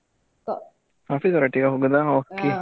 Office ಅವರೊಟ್ಟಿಗಾ ಹೋಗುದು okay .